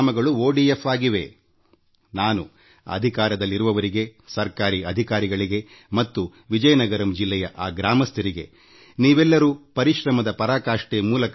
ನಾನು ಅಪರಿಮಿತ ಪರಿಶ್ರಮದ ಮೂಲಕ ಈ ಶ್ರೇಷ್ಠ ಕಾರ್ಯವನ್ನು ಮಾಡಿದ ಸರ್ಕಾರದಲ್ಲಿರುವವರಿಗೆ ಸರ್ಕಾರಿ ಅಧಿಕಾರಿಗಳಿಗೆ ಮತ್ತು ವಿಜಯನಗರಂ ಜಿಲ್ಲೆಯ ಆ ಗ್ರಾಮಸ್ಥರಿಗೆ ಅಭಿನಂದನೆ ಸಲ್ಲಿಸುತ್ತೇನೆ